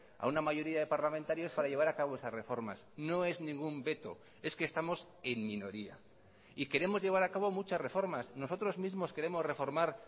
a una mayoría de parlamentarios para llevar a cabo esas reformas no es ningún veto es que estamos en minoría y queremos llevar a cabo muchas reformas nosotros mismos queremos reformar